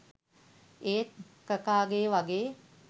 ඒත් කකාගෙ වගේ